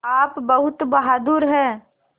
आप बहुत बहादुर हैं